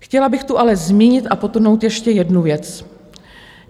Chtěla bych tu ale zmínit a podtrhnout ještě jednu věc.